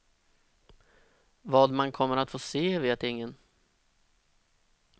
Vad man kommer att få se vet ingen.